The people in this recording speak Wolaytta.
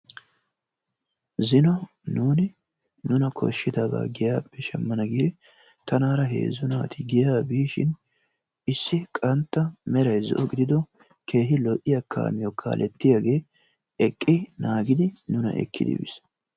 Zino nuuni nuuna kooshidabaa giyaappe shaamana giidi tanaara heezzu naati giyaa biishin issi qantta meray zo"o giidido keehi lo"iyaa kaamiyoo kalettiyaage eqqi naagidi nuuna ekki epiis.